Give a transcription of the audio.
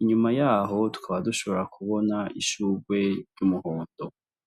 inyuma yaho tukaba dushobora kubona ishugwe ry' umuhondo.